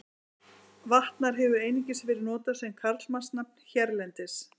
Vatnar hefur einungis verið notað sem karlmannsnafn hérlendis.